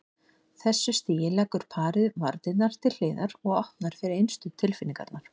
þessu stigi leggur parið varnirnar til hliðar og opnar fyrir innstu tilfinningarnar.